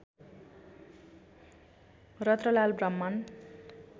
Ratanlal Brahman